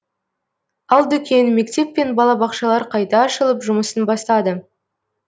ал дүкен мектеп пен балабақшалар қайта ашылып жұмысын бастады